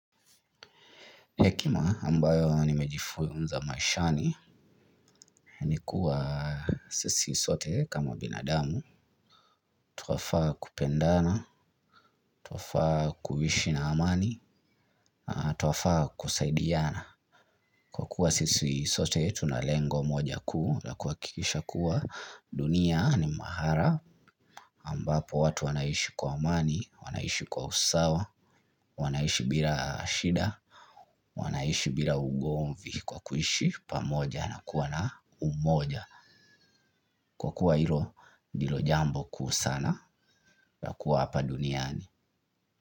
Hekima ambayo nimejifunza maishani ni kuwa sisi sote kama binadamu. Twafaa kupendana, twafaa kuhishi na amani, twafaa kusaidiana. Kwa kuwa sisi sote tuna lengo moja kuu lakuhakikisha kuwa dunia ni mahara ambapo watu wanaishi kwa amani, wanaishi kwa usawa, wanaishi bila shida, wanaishi bila ugomvi kwa kuishi, pamoja na kuwa na umoja. Kwa kuwa hilo ndilo jambo kuu sana la kuwa hapa duniani.